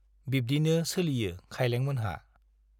बिब्दिनो सोलियो खाइलेंमोनहा।